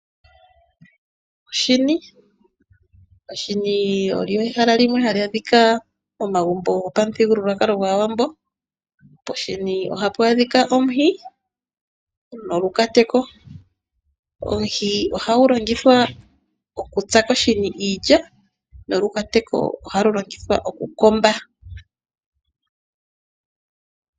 Oshini Oshini olyo ehala limwe hali adhika momagumbo gopamuthigululwakalo gwAawambo. Poshini ohapu adhika omuhi nolukateko. Omuhi ohagu longithwa okutsa koshini iilya , nolukateko ohalu longithwa okukomba.